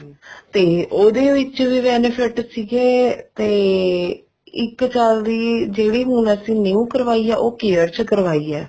ਤੇ ਉਹਦੇ ਵਿੱਚ ਵੀ benefits ਸੀਗੇ ਤੇ ਇੱਕ ਸਾਲ ਦੀ ਜਿਹੜੀ ਹੁਣ ਅਸੀਂ new ਕਰਵਾਈ ਹੈ ਉਹ care ਚ ਕਰਵਾਈ ਹੈ